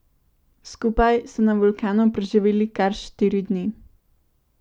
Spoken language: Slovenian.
Skupaj so na vulkanu preživeli kar štiri dni.